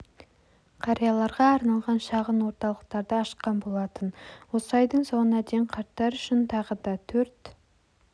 қарияларға арналған шағын орталықтарды ашқан болатын осы айдың соңына дейін қарттар үшін тағы да төрт